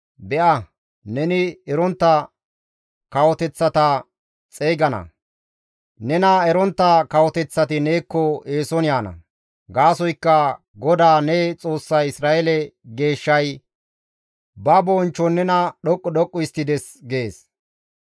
Be7a, neni erontta kawoteththata xeygana; nena erontta kawoteththati neekko eeson yaana. Gaasoykka GODAA ne Xoossay Isra7eele Geeshshay ba bonchchon nena dhoqqu dhoqqu histtides» gees.